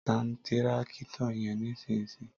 Tàn tírákítọ̀ yẹn nísìsiyìí!